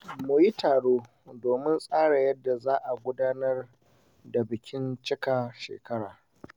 Mun yi taro domin tsara yadda za a gudanar da bikin cikar shekara.